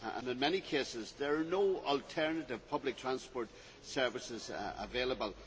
In many cases, there is no alternative public transport service available.